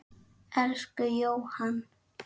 Elsku Jóhann.